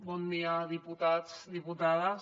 bon dia diputats diputades